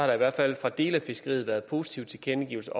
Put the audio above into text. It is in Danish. der i hvert fald fra dele af fiskeriet været positive tilkendegivelser